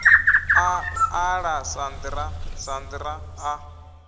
a ḓala sandra sandra a